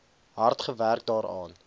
hard gewerk daaraan